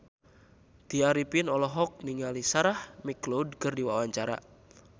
Tya Arifin olohok ningali Sarah McLeod keur diwawancara